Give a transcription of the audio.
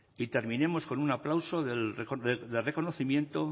y terminemos con un aplauso de reconocimiento